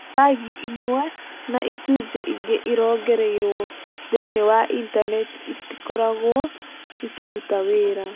Pagi imwe na icunjĩ ingĩ irongoreirio thĩinĩ wa Intaneti itikoragwo ikĩruta wĩra.